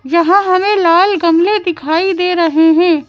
हमें लाल गमले दिखाई दे रहे हैं।